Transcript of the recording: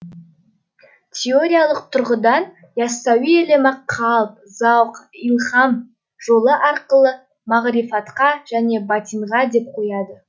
теориялық тұрғыдан яссауи ілімі қалб зауқ илһам жолы аркылы мағрифатқа және батинға деп қояды